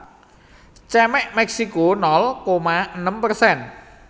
Cemex Meksiko nol koma enem persen